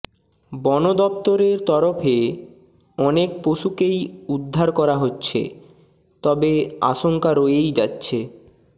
বন দপ্তরের তরফে অনেক পশুকেই উদ্ধার করা হচ্ছে তবে আশঙ্কা রয়েই যাচ্ছে